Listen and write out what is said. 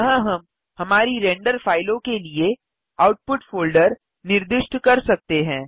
यहाँ हम हमारी रेंडर फ़ाइलों के लिए आउटपुट फ़ोल्डर निर्दिष्ट कर सकते हैं